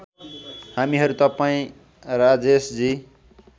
हामीहरू तपाईँ राजेशजी